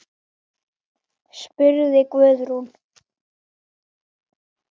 spurði Guðrún.